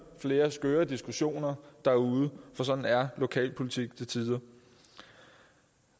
flere skøre diskussioner derude for sådan er lokalpolitik til tider